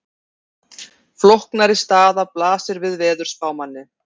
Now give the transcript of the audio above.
Flóknari staða blasir við veðurspámanni.